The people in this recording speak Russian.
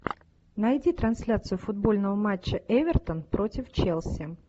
найди трансляцию футбольного матча эвертон против челси